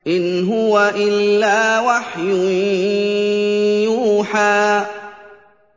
إِنْ هُوَ إِلَّا وَحْيٌ يُوحَىٰ